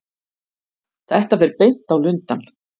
Þetta fer beint á Lundann.